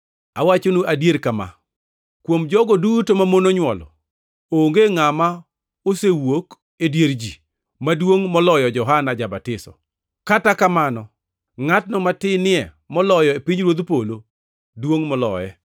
Awachonu adier kama: Kuom jogo duto mamon onywolo, onge ngʼama osewuok e dier ji maduongʼ moloyo Johana ja-Batiso; kata kamano ngʼatno matinie moloyo e pinyruodh polo duongʼ moloye.